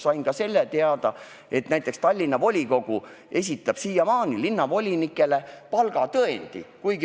Sain teada ka selle, et näiteks Tallinna volikogu esitab siiamaani linnavolinikele palgatõendi.